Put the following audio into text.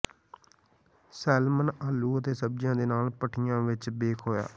ਸੇਲਮਨ ਆਲੂ ਅਤੇ ਸਬਜ਼ੀਆਂ ਦੇ ਨਾਲ ਭਠੀ ਵਿੱਚ ਬੇਕ ਹੋਇਆ